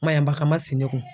Maɲanbaga man si ne kun.